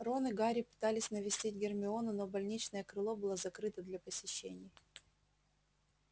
рон и гарри пытались навестить гермиону но больничное крыло было закрыто для посещений